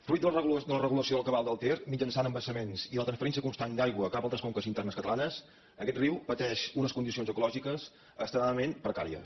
fruit de la regulació del cabal del ter mitjançant embassaments i la transferència constant d’aigua cap a altres conques internes catalanes aquest riu pateix unes condicions ecològiques extremadament precàries